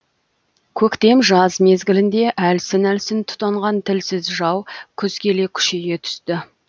көктем жаз мезгілінде әлсін әлсін тұтанған тілсіз жау күз келе күшейе түсті